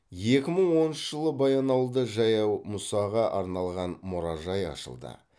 екі мың оныншы жылы баянауылда жаяу мұсаға арналған мұражай ашылды